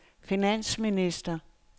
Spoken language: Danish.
finansminister